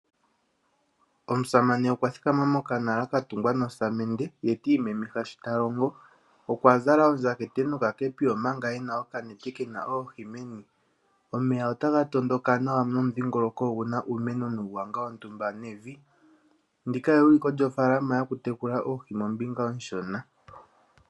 Omusamane okwa thikama mokanala ka tungwa nosamende ye ti imemeha shi ta longo. Okwa zala ondjatha nokakepi, omanga e na okanete ke na oohi meni. Omeya otaga tondoka nawa nomudhingoloko ogu na uumeno nuugwanga wontumba nevi. Ndi ka euliko lyofaalama yokutekula oohi mombinga onshona.